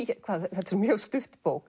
þetta er mjög stutt bók